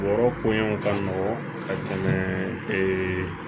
Bɔrɔ koɲanw ka nɔgɔn ka tɛmɛ ee